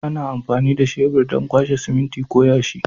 Ana amfani da shebur don kwashe siminti ko yashi.